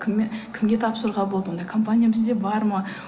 кімге тапсыруға болады ондай компания бізде бар ма